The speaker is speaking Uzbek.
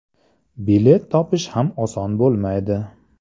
Bilet topish ham oson bo‘lmaydi.